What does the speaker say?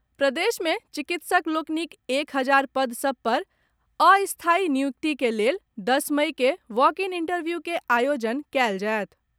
प्रदेशमे चिकित्सक लोकनिक एक हजार पद सब पर अस्थायी नियुक्तिक लेल दस मइ केँ वॉक इन इंटरव्यू के आयोजन कयल जायत।